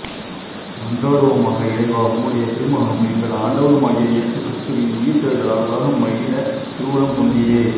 மன்றாடுவோமாக இறைவா உம்முடைய திருமகனும் எங்கள் ஆண்டவருமாகிய இயேசு கிறிஸ்துவின் உயிர்த்தெழுதலால் உலகம் மகிழத் திருவுளம் கொண்டீரே